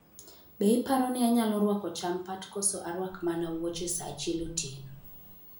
Be iparo ni anyalo rwako champat koso arwak mana wuoche saa achiel otieno